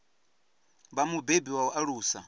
vha mubebi wa u alusa